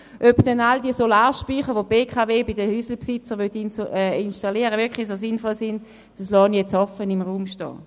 Ob dann all die Solarspeicher, die die BKW bei den Hausbesitzern installieren will, wirklich so sinnvoll sind, das lassen wir im Raum stehen.